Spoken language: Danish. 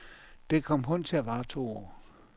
Det kom kun til at vare to år.